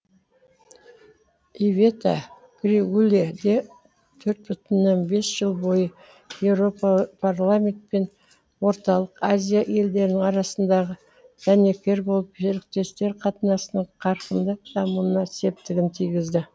ивета григуле де төрт бүтін оннан бес жыл бойы еуропарламент пен орталық азия елдерінің арасындағы дәнекері болып серіктестер қатынасының қарқынды дамуына септігін тигізді